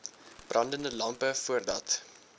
brandende lampe voordat